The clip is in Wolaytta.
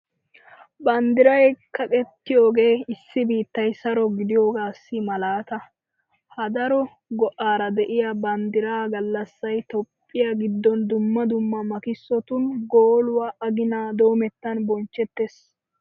Banddiray kaqettiyogee issi biittay saro gidiyogaassi malaata. Ha daro go"aara de'iya banddiraa gallassay toophphiya giddon dumma dumma makkisotun gooluwa aginaa doomettan bonchchettees.